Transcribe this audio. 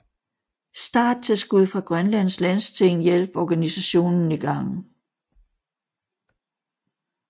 Starttilskud fra Grønlands Landsting hjalp organisationen i gang